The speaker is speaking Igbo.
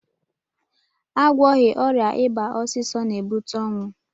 Agwọghị ọrịa ịba ọsịsọ na-ebute ọnwụ